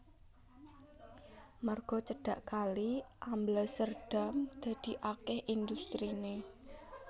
Merga cedhak kali Alblasserdam dadi akèh industriné